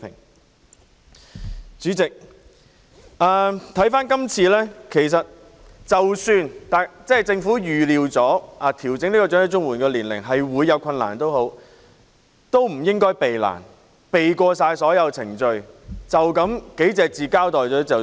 代理主席，即使政府今次已預料調整申領長者綜援的年齡會有困難，亦不應逃避困難，避過所有程序，只以寥寥數語交代便了事。